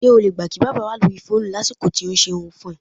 S̩e o lè gbà kí bábà wà lórí fóònù lásìkò tó ń s̩erun fún e̩?